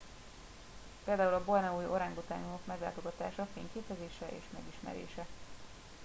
például a borneói orángutánok meglátogatása fényképezése és megismerése